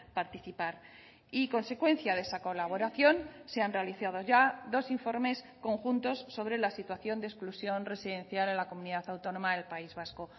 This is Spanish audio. participar y consecuencia de esa colaboración se han realizado ya dos informes conjuntos sobre la situación de exclusión residencial en la comunidad autónoma del país vasco